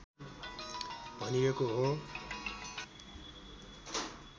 भनिएको हो